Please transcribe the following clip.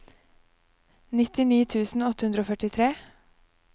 nittini tusen åtte hundre og førtifire